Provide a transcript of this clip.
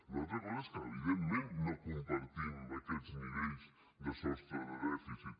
una altra cosa és que evidentment no compartim aquests nivells de sostre de dèficit